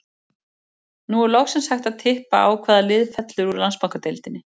Nú er loksins hægt að tippa á hvaða lið fellur úr Landsbankadeildinni.